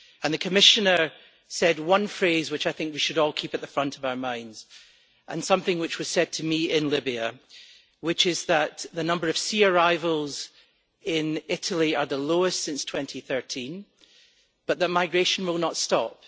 The Commissioner said one thing which I think we should all keep at the forefront of our minds and something which was said to me in Libya which is that the number of sea arrivals in Italy is the lowest since 2013, but that migration will not stop.